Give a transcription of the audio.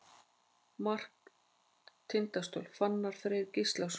Mark Tindastóls: Fannar Freyr Gíslason.